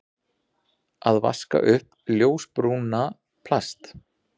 Að vaska upp ljósbrúna plast